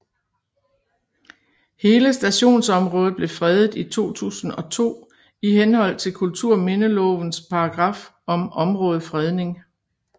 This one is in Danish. Hele stationsområdet blev fredet i 2002 i henhold til kulturminnelovens paragraf om områdefredning